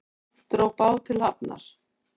Dró bát til hafnar